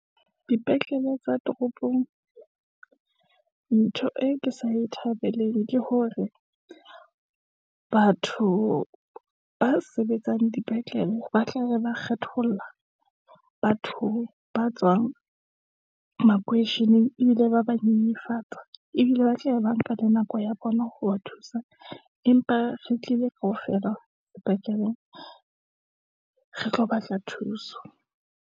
Dipetlele tsa toropong, ntho e ke sa e thabeleng ke hore batho, ba sebetsang dipetlele ba tla be ba kgetholla, batho ba tswang makoisheneng, ebile ba ba nyenyefatsa, ebile ba tlabe ba nka le nako ya bona ho ba thusa. Empa re tlile kaofela sepetlele, re tlo batla thuso.